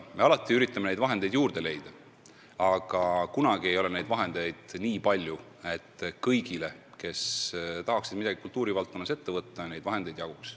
Me alati üritame vahendeid juurde leida, aga kunagi ei ole raha nii palju, et jaguks kõigile, kes tahaksid midagi kultuuri valdkonnas ette võtta.